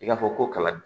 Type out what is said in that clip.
I k'a fɔ ko kala don